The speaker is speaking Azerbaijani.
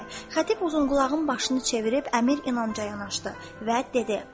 Xətib uzunqulağın başını çevirib Əmir İnanca yanaşdı və dedi: